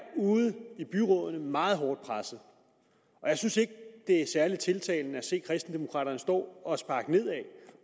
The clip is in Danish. ude i byrådene meget hårdt presset jeg synes ikke det er særlig tiltalende at se kristendemokraterne stå og sparke nedad